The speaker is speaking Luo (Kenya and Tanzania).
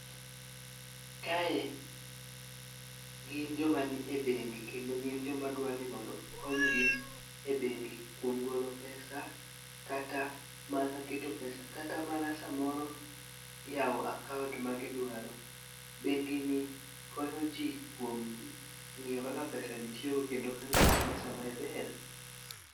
Kae gin joma nie bengi kendo gin joma dwani okonygi e bengi kuom golo pesa kata mana keto pesa kata mana samoro yawo akaunt ma gidwaro. Bengi ni konyo jii kuom ng'iyo kaka pesa jii tiyo go kendo kano negi pesa maber.